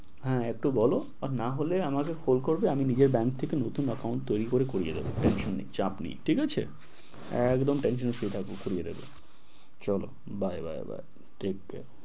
হ্যাঁ একটু বলো না হলে আমাকে কল করবে আমি নিজে ব্যাংক থেকে নতুন account তৈরি করে করিয়ে দেবো। tension এর চাপ নেই ঠিক আছে একদম tension শুয়ে থাকো করিয়ে দেবো চলো bye bye bye. take care